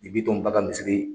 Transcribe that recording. Ni Bitɔn ba ka misiri